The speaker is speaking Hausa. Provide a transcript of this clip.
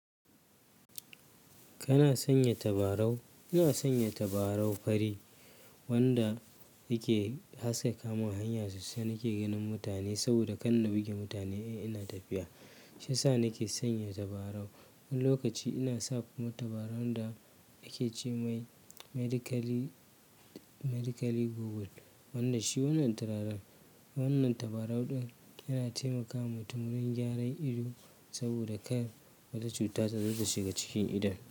Kana sanya tabarau? Ina sanya tabarau fari wanda yake haska kamun hanyarsu sai nake ganin mutane saboda kan na buge mutane in ina tafiya. Shiyasa nake sanya tabarau. Wani lokaci ina sa kuma tabarau da ake ce mai medicali, medicali goggle. Wannan shi wannan turaren. Wannan tabarau ɗin yana taimakawa mutuminin gyaran ido saboda kar wata cuta ta zo ta shiga cikin idon.